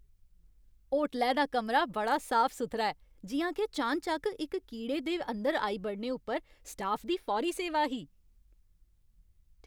होटलै दा कमरा बड़ा साफ सुथरा ऐ, जि'यां के चान चक्क इक कीड़े अंदर आई बड़ने उप्पर स्टाफ दी फौरी सेवा ही।